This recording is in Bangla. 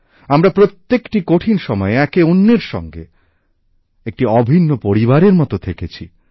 আমরা প্রত্যেকটি কঠিন সময়ে একে অন্যের সঙ্গে একটি অভিন্ন পরিবারের মত থেকেছি